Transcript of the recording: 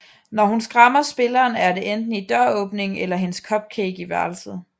Når hun skræmmer spilleren er det enten i dør åbningen eller hendes cupcake i værelset